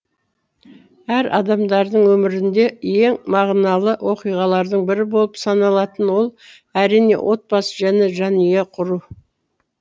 әр адамдардың өмірінде ең мағыналы оқиғалардың бірі болып саналатын ол әрине отбасы және жанұя құру